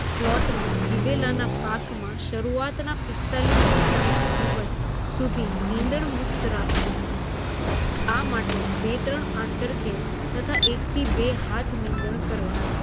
પ્લોટમાં દિવેલાના પાકમાં શરુઆતના પિસ્તાલીસ થી સાઠ દિવસ સુધી નીંદણ મુક્ત રાખવો. આ માટે બે-ત્રણ આંતરખેડ તથા એક થી બે હાથ નીંદણ કરવા.